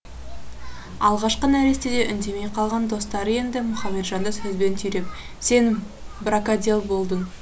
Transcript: алғашқы нәрестеде үндемей қалған достары енді мұхаметжанды сөзбен түйреп сен бракодел болдың